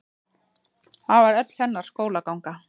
Það var öll hennar skólaganga.